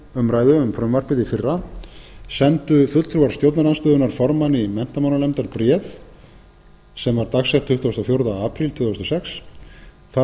frumvarpið í fyrra sendu fulltrúar stjórnarandstöðunnar formanni menntamálanefndar bréf dagsett tuttugasta og fjórða apríl tvö þúsund og sex þar